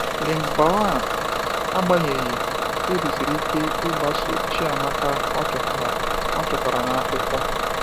Lingbaoan, agbanyeghị, kpebisiri ike ịgbaso Chiamaka ọ chọtara ọ chọtara n’akwụkwọ.